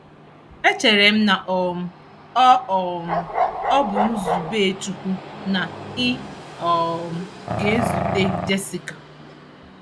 Echere m na um ọ um ọ bụ nzube Chukwu na ị um ga-ezute Jessica